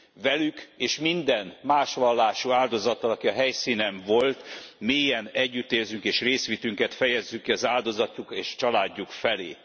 Velük, és minden más vallású áldozattal, aki a helyszínen volt, mélyen együtt érzünk, és részvétünket fejezzük ki az áldozatok és családjuk felé.